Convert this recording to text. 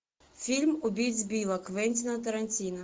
фильм убить билла квентина тарантино